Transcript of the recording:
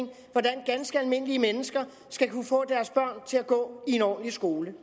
skal almindelige mennesker skal kunne få deres børn til at gå i en ordentlig skole